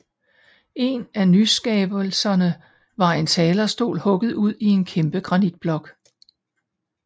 En af nyskabelserne var en talerstol hugget ud i en kæmpe granitblok